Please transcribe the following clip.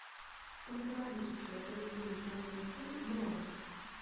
стоматологическая поликлиника номер три бронь